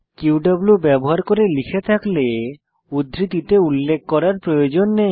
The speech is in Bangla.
কিউ ব্যবহার করে লিখে থাকলে উদ্ধৃতিতে উল্লেখ করার প্রয়োজন নেই